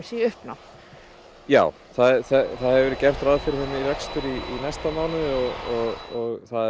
í uppnám já það hefur verið gert ráð fyrir þeim í rekstur í næsta mánuði og það er